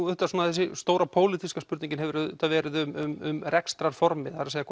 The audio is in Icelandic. þessi stóra pólitíska spurning hefur auðvitað verið um rekstrarformið það er